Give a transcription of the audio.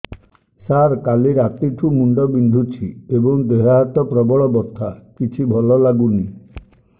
ସାର କାଲି ରାତିଠୁ ମୁଣ୍ଡ ବିନ୍ଧୁଛି ଏବଂ ଦେହ ହାତ ପ୍ରବଳ ବଥା କିଛି ଭଲ ଲାଗୁନି